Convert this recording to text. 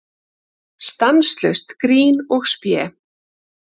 Stanslaust grín og spé.